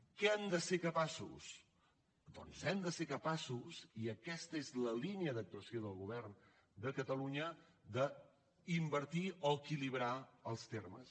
de què hem de ser capaços doncs hem de ser capaços i aquesta és la línia d’actuació del govern de catalunya d’invertir o equilibrar els termes